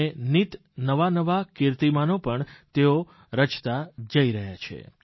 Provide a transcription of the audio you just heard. અને નિત નવા નવા કિર્તિમાનો પણ તેઓ રચતા જઇ રહ્યા છે